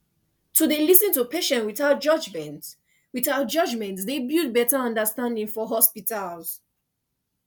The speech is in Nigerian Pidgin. to dey lis ten to patients without judgment without judgment dey build better understanding for hospitals